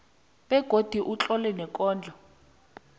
begodu utlole neenkondlo